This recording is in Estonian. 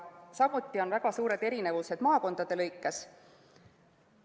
Samuti on väga suured erinevused maakondades.